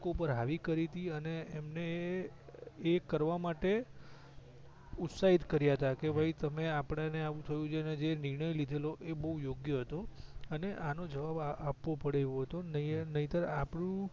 હાવી કરી તી અને અમને એ કરવા માટે ઉત્સાહિત કર્યા તા કે ભાઈ તમે આપડા ને આમ થયું ન જે નિણઁય લિધેલો એ બવ યોગ્ય હતો અને એનો જવાબ આપવો પડે એવો હતો નહીતર આપડું